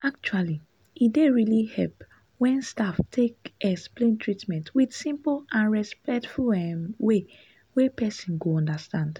actually e dey really help when staff take explain treatment with simple and respectful um way wey person go understand.